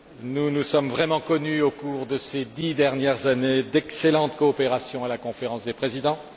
Nous nous sommes vraiment connus au cours de ces dix dernières années d'excellente coopération à la Conférence des présidents.